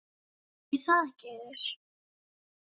Er það ekki Auður?